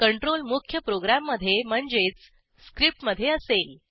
control मुख्य प्रोग्रॅममधे म्हणजेच स्क्रिप्ट मधे असेल